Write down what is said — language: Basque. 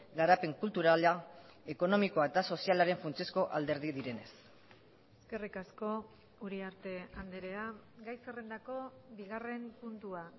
garapen kulturala ekonomikoa eta sozialaren funtsezko alderdi direnez eskerrik asko uriarte andrea gai zerrendako bigarren puntua